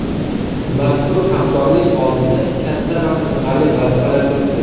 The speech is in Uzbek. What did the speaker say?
Mazkur hamkorlik oldida katta va qiziqarli vazifalar turibdi.